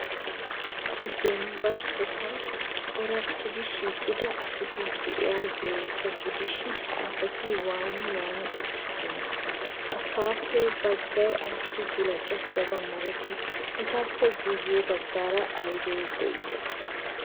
Issi dembba sohuwan corattidi shiiqida asati de'iyaageeta gidishin, ha asati waani waani uttidonaa? Asaappe baggay ayssi gulbbattidabaa malatii? Etappe guye baggaara aybi de'ii?